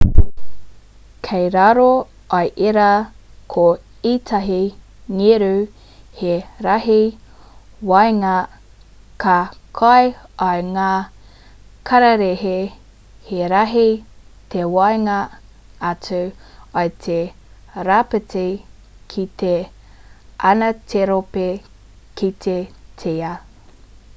kei raro i ērā ko ētahi ngeru he rahi waenga ka kai i ngā kararehe he rahi te waenga atu i te rāpiti ki te anaterope ki te tia